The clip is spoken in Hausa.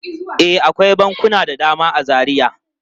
E, akwai bankuna da dama a Zaria.